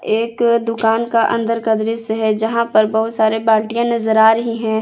एक दुकान का अंदर का दृश्य है यहां पर बहुत सारे बाल्टियां नजर आ रही है।